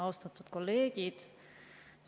Austatud kolleegid!